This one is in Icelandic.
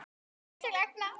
Upp til agna.